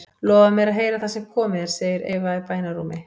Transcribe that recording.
Lofaðu mér að heyra það sem komið er, segir Eva í bænarrómi.